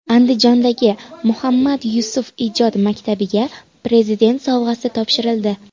Andijondagi Muhammad Yusuf ijod maktabiga Prezident sovg‘asi topshirildi.